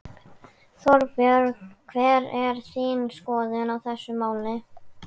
Þorbjörn: Hver er þín skoðun á þessu máli?